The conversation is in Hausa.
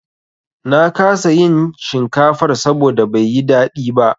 Na kasa iin shinkafar saboda bai yi daɗi ba.